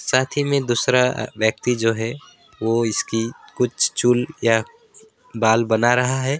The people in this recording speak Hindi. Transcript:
साथ ही में दूसरा व्यक्ति जो है वो इसकी कुछ चूल या बाल बना रहा है।